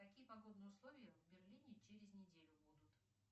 какие погодные условия в берлине через неделю будут